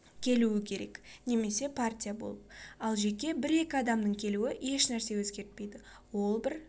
келуі керек немесе партия болып ал жеке бір-екі адамның келуі еш нәрсе өзгертпейді ол бір